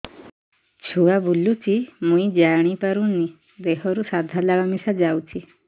ଛୁଆ ବୁଲୁଚି ମୁଇ ଜାଣିପାରୁନି ଦେହରୁ ସାଧା ଲାଳ ମିଶା ଯାଉଚି